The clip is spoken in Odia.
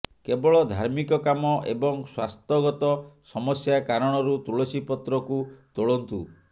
କେବଳ ଧାର୍ମିକ କାମ ଏବଂ ସ୍ବାସ୍ଥ୍ୟଗତ ସମସ୍ୟା କାରଣରୁ ତୁଳସୀ ପତ୍ରକୁ ତୋଳନ୍ତୁ